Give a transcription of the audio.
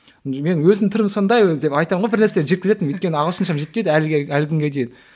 мен өзім түрім сондай өзі деп айтамын ғой бірнәрсе деп жеткізетінмін өйткені ағылшыншам жетпейді әлі күнге дейін